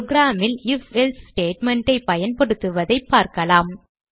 program ல் Ifelse statement ஐ பயன்படுத்துவதை பார்க்கலாம்